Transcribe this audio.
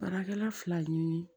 Baarakɛla fila ye